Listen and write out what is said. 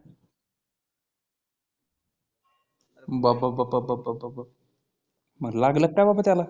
बाप बाप बाप बाप मग लागल काय बाबा त्याला